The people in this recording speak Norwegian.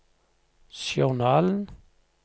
journalen